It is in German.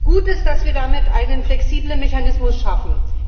Gut ist, dass wir damit einen flexiblen Mechanismus schaffen.